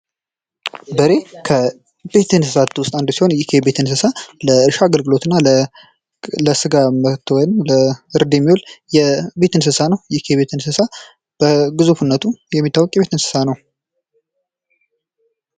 በሬ ከቤት እንስሳት ውስጥ አንዱ ሲሆን ፤ ይሄ የቤት እንስሳ ለእርሻ አገልግሎትና ለስጋ ወይም ለእርድ የሚውል የቤት እንስሳ ነው። ይህ የቤት እንስሳ በግዙፍነቱ የሚታወቅ የቤት እንስሳ ነው።